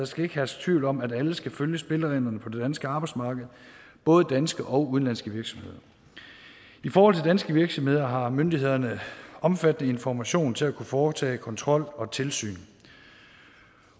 skal herske tvivl om at alle skal følge spillereglerne på det danske arbejdsmarked både danske og udenlandske virksomheder i forhold til danske virksomheder har myndighederne omfattende information til at kunne foretage kontrol og tilsyn